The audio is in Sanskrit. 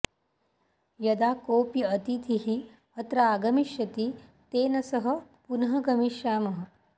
यदा कोऽपि अतिथिः अत्र आगमिष्यति तेन सह पुनः गमिष्यामः